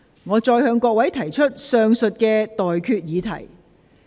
我現在向各位提出上述待決議題。